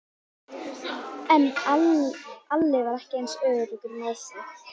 En Alli var ekki eins öruggur með sig.